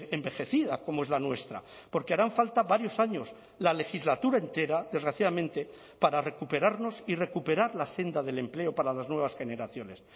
envejecida como es la nuestra porque harán falta varios años la legislatura entera desgraciadamente para recuperarnos y recuperar la senda del empleo para las nuevas generaciones